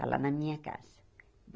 Está lá na minha casa.